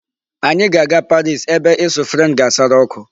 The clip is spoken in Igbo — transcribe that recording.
Anyị ga-aga Paris ebe ịsụ French ga-asara ọkụ.